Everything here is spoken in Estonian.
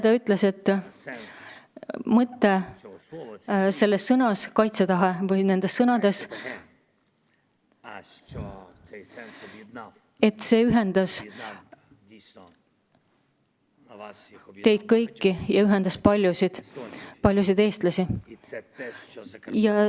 Ta ütles, et see mõte, see sõna "kaitsetahe", mis on siin kirjas, on ühendanud teid kõiki, on ühendanud paljusid eestlasi.